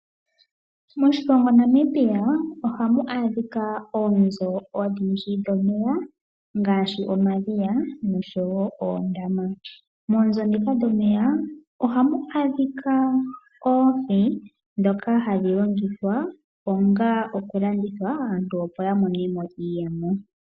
Moshilongo Namibia ohamu adhika oonzo odhindji dhomeya ngaashi omadhiya oshowo oondama. Moonzo ndhika dhomeya ohamu adhika oohi ndhoka hadhi longithwa onga okulanditha aantu, opo ya monemo iiyemo.